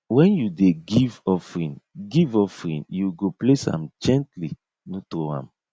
when you dey give offering give offering you go place am gently no throw am